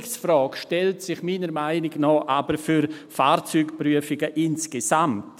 Die Digitalisierungsfrage stellt sich aber meiner Meinung nach für Fahrzeugprüfungen insgesamt.